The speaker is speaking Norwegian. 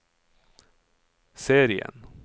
serien